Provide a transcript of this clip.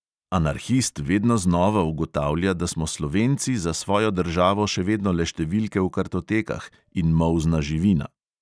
Anarhist vedno znova ugotavlja, da smo slovenci za svojo državo še vedno le številke v kartotekah in molzna živina.